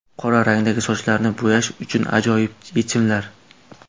Qora rangdagi sochlarni bo‘yash uchun ajoyib yechimlar.